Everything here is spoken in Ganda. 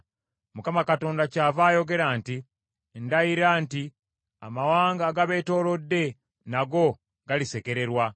Mukama Katonda kyava ayogera nti, Ndayira nti amawanga agabeetoolodde nago galisekererwa.